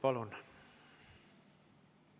Palun!